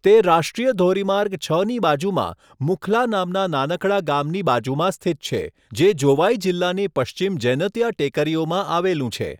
તે રાષ્ટ્રીય ધોરીમાર્ગ છની બાજુમાં મુખ્લા નામના નાનકડા ગામની બાજુમાં સ્થિત છે, જે જોવાઈ જિલ્લાની પશ્ચિમ જૈનતિયા ટેકરીઓમાં આવેલું છે.